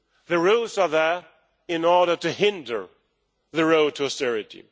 The rules are there in order to hinder the road to austerity.